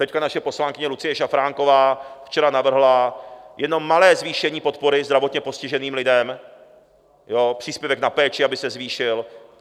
Teď naše poslankyně Lucie Šafránková včera navrhla jenom malé zvýšení podpory zdravotně postiženým lidem - příspěvek na péči, aby se zvýšil.